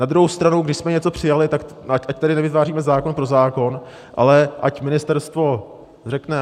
Na druhou stranu, když jsme něco přijali, tak ať tady nevytváříme zákon pro zákon, ale ať ministerstvo řekne.